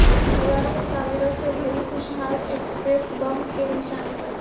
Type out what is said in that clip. ہزاروں مسافروں سے بھری خوشحال ایکسپریس بم کے نشانے پر